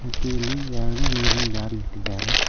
ಮತ್ತೆ ಇಲ್ಲಿ ಎರಡು ನೀರಿನ್ ಬ್ಯಾರೆಲ್ ಇಟ್ಟಿದ್ದಾರೆ.